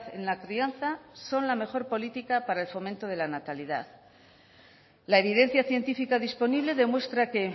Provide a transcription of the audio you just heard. en la crianza son la mejor política para el fomento de la natalidad la evidencia científica disponible demuestra que